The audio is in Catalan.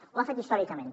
ho ha fet històricament